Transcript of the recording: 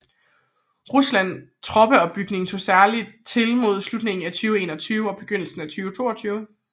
Rusland troppeopbygning tog særligt til mod slutningen af 2021 og begyndelsen af 2022